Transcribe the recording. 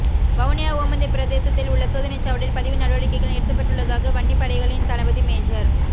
வவுனியா ஓமந்தை பிரதேசத்தில் உள்ள சோதனைச் சாவடியில் பதிவு நடவடிக்கைகள் நிறுத்தப்பட்டுள்ளதாக வன்னிப் படைகளின் தளபதி மேஜர்